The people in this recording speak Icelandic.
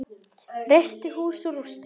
Reisti hús úr rústum.